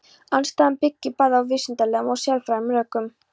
Andstaðan byggir bæði á vísindalegum og siðfræðilegum rökum.